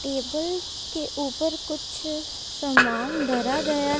table के ऊपर कुछ समान धरा गया--